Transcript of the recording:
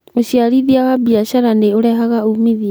ũciarithia wa biacara nĩ ũrehaga umithio.